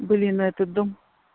блин этот дом